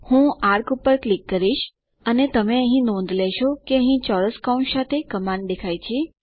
હું ચાપ પર ક્લિક કરીશ અને તમે નોંધ લેશો કે અહીં ચોરસ કૌંસ સાથે કમાન્ડ દેખાય છે